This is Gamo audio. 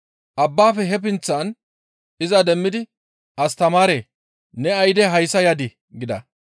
Abbaafe he pinththan iza demmidi, «Astamaaree! Ne ayde hayssa yadii?» gida.